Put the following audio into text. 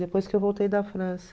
Depois que eu voltei da França.